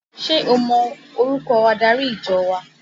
Ṣé o mọ orúkọ adarí ìjọ wa?